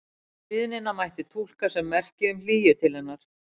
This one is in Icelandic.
Stríðnina mætti túlka sem merki um hlýju til hennar.